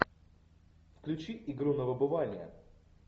включи игру на выбывание